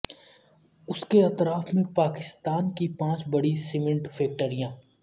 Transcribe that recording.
اس کے اطراف میں پاکستان کی پانچ بڑی سیمنٹ فیکٹریاں